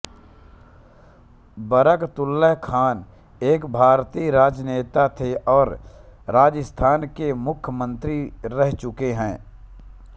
बरकतुल्लाह खान एक भारतीय राजनेता थे और राजस्थान के मुख्यमंत्री रह चुके है